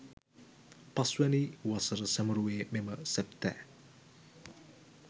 පස්වැනි වසර සැමරුවේ මෙම සැප්තැ